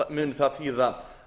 muni það þýða